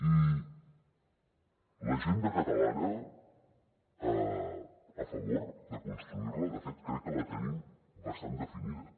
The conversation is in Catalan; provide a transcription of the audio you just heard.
i l’agenda catalana a favor de construir la de fet crec que la tenim bastant definida